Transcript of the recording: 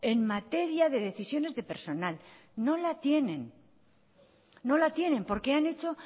en materia de decisiones de personal no la tienen no la tienen porque han hecho